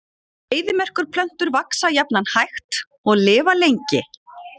Eyðimerkurplöntur vaxa jafnan hægt og lifa lengi.